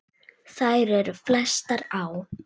Þær eru flestar á